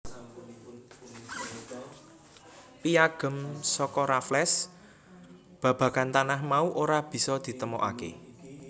Piyagem saka Raffles babagan tanah mau ora bisa ditemokaké